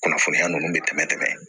Kunnafoniya ninnu bɛ tɛmɛ dɛ